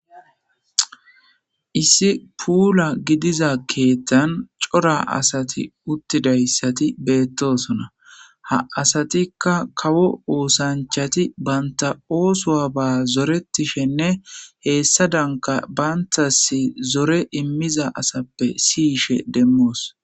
issi puula gidiza keettan cora asati uttidayssati beettosona ha asatikka kawo oosanchati banta oosoa ba zoretishenne heessa danka bantasi zore immiza asappe siyishe demmoos